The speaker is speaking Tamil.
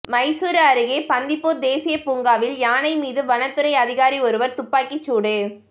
மைசூரு அருகே பந்திப்பூர் தேசிய பூங்காவில் யானை மீது வனத்துறை அதிகாரி ஒருவர் துப்பாக்கி சூடு